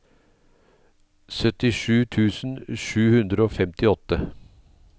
syttisju tusen sju hundre og femtiåtte